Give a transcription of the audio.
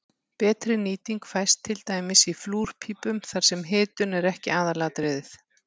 Betri nýting fæst til dæmis í flúrpípum þar sem hitun er ekki aðalatriðið.